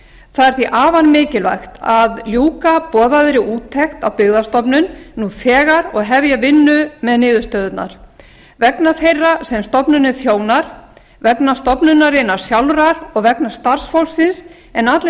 það er því afar mikilvægt að ljúka boðaðri úttekt á byggðastofnun nú þegar og hefja vinnu með niðurstöðurnar vegna þeirra sem stofnunin þjónar vegna stofnunarinnar sjálfrar og vegna starfsfólksins en allir